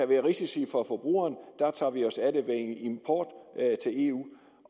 være risici for forbrugerne tager vi os af det ved import til eu